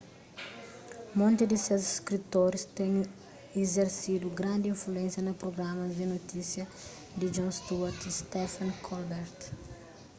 monti di ses skritoris ten izersidu grandi influénsia na prugramas di notisia di jon stewart y stephen colbert